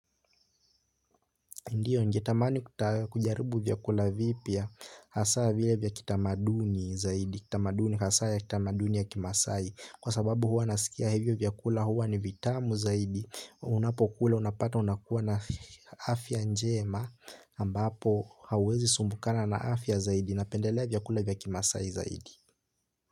Ndiyo ningetamani kujaribu vyakula vipya hasa vile vya kitamaduni zaidi. Kwa sababu huwa naskia hivyo vyakula huwa ni vitamu zaidi. Unapokula unapata unakuwa na afya njema ambapo hauwezi sumbukana na afya zaidi. Napendelea vyakula vya kimasai zaidi.